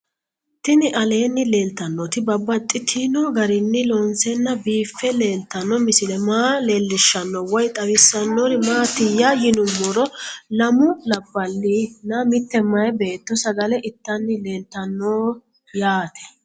Tinni aleenni leelittannotti babaxxittinno garinni loonseenna biiffe leelittanno misile maa leelishshanno woy xawisannori maattiya yinummoro lamu labalinna mitte mayi beetto sagale ittanni leelattanno yaatte